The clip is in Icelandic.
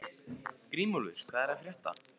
Grímúlfur, hvað er að frétta?